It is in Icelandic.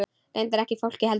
Reyndar ekki fólkið heldur.